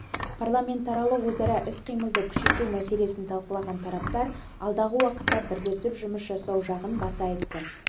парламентаралық өзара іс-қимылды күшейту мселесін талқылаған тараптар алдағы уақытта бірлесіп жұмыс жасау жағын баса айтты